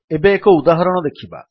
ଏବେ ଏକ ଉଦାହରଣ ଦେଖିବା